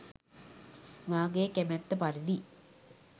මාගේ් කැමැත්ත පරිදි